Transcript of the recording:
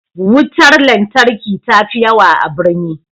Wutar lantarki ta fi yawa a birni